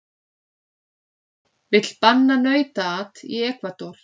Vill banna nautaat í Ekvador